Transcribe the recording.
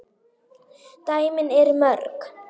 dæmin eru mörg.